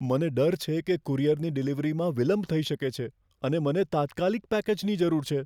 મને ડર છે કે કુરિયરની ડિલિવરીમાં વિલંબ થઈ શકે છે, અને મને તાત્કાલિક પેકેજની જરૂર છે.